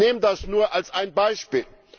Ich nehme das nur als ein Beispiel.